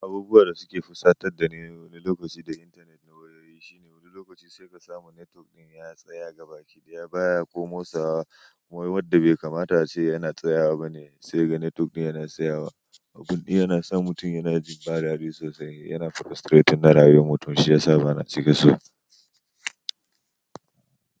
Abubuwan da suke fusatar da ni wani lokaci da intanet na wayoyi shine wani lokaci sai ka samu netwok ɗin ya tsaya gabaki daya baya ko motsawa wai wadda bai kamata ace yana tsayawa bane sai kaga netwok ɗin yana tsayawa. Abu ɗin yana sa mutum yana jin ba dadi sosai yana frustrating na rayuwar mutum shi yasa bana cika so.